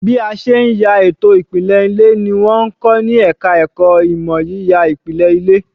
Bí a ṣe ń ya ètò ìpìlẹ̀ ilé ni wọ́n ń kọ ní ẹ̀ka ẹ̀kọ́ ìmọ̀ yíya ìpìlẹ̀ ilé